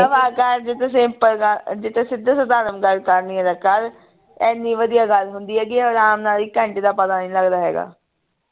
ਦਫ਼ਾ ਕਰ ਜਿਥੇ simple ਗੱਲ ਜੇ ਤੇ ਸਿੱਧਾ ਸ਼ਧਾਰਨ ਗੱਲ ਕਰਨੀ ਏ ਤਾਂ ਕਰ ਇੰਨੀ ਵਧੀਆ ਗੱਲ ਹੁੰਦੀ ਹੈਗੀ ਹੈ ਆਰਾਮ ਨਾਲ ਇਕ ਘੰਟੇ ਦਾ ਪਤਾ ਨਹੀਂ ਲਗਦਾ ਹੈਗਾ